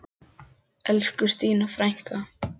Elsku Stína frænka!